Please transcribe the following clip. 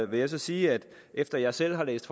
vil jeg sige at efter at jeg selv har læst